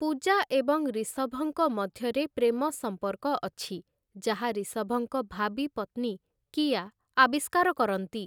ପୂଜା ଏବଂ ରିଷଭଙ୍କ ମଧ୍ୟରେ ପ୍ରେମ ସମ୍ପର୍କ ଅଛି, ଯାହା ରିଷଭଙ୍କ ଭାବୀ ପତ୍ନୀ କିଆ ଆବିଷ୍କାର କରନ୍ତି ।